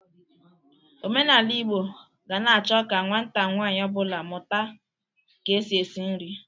Omenala Igbo ga na-achọ ka nwata nwanyị ọ bụla mụta ka e si esi nri.